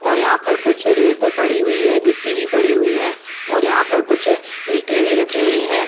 और यहाँ पे कुछ रेत पड़ी हुई है गिट्टी भी पड़ी हुई है और यहाँ पर कुछ ईटे भी रखी हुई है।